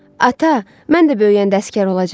Ata, mən də böyüyəndə əsgər olacağam.